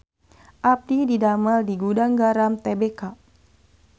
Abdi didamel di Gudang Garam Tbk